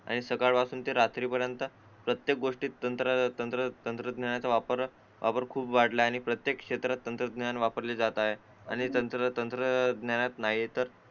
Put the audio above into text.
आणि सकाळपासून ते रात्री पर्यंत प्रत्येक गोष्टीत तंत्र तंत्र तंत्र तंत्रज्ञानाचा वापर खूप वाढला आहे आणि प्रत्येक क्षेत्रात तंत्रज्ञान वापरले जात आहे ते तंत्र तंत्रज्ञानात ते तर